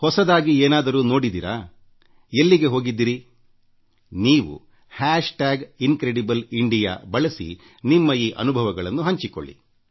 ಹೊಸದಾಗಿ ಏನಾದರೂ ನೋಡಿದಿರಾ ಎಲ್ಲಿಗೆ ಹೋಗಿದ್ದಿರಿ ನೀವು ಹಾಶ್ ಟಾಗ್ ಇನ್ಕ್ರೆಡಿಬಲ್ ಇಂಡಿಯಾ ಬಳಸಿ ನಿಮ್ಮ ಈ ಅನುಭವಗಳನ್ನು ಹಂಚಿಕೊಳ್ಳಿ